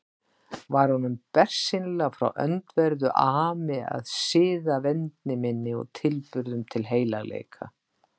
Var honum bersýnilega frá öndverðu ami að siðavendni minni og tilburðum til heilagleika.